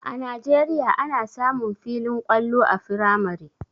A najeriya ana samun filin kwallo a firamare